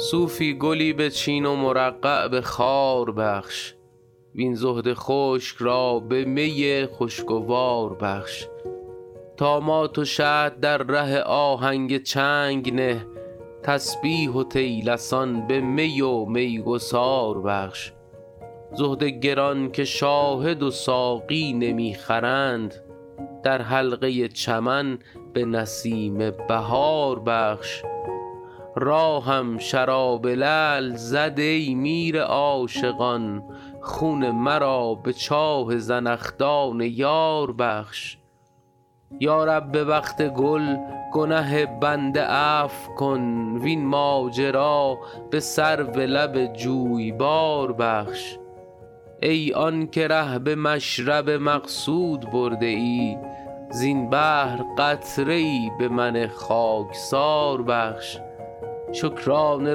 صوفی گلی بچین و مرقع به خار بخش وین زهد خشک را به می خوشگوار بخش طامات و شطح در ره آهنگ چنگ نه تسبیح و طیلسان به می و میگسار بخش زهد گران که شاهد و ساقی نمی خرند در حلقه چمن به نسیم بهار بخش راهم شراب لعل زد ای میر عاشقان خون مرا به چاه زنخدان یار بخش یا رب به وقت گل گنه بنده عفو کن وین ماجرا به سرو لب جویبار بخش ای آن که ره به مشرب مقصود برده ای زین بحر قطره ای به من خاکسار بخش شکرانه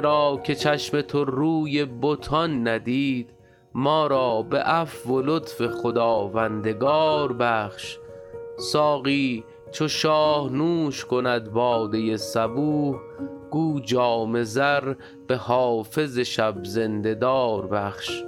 را که چشم تو روی بتان ندید ما را به عفو و لطف خداوندگار بخش ساقی چو شاه نوش کند باده صبوح گو جام زر به حافظ شب زنده دار بخش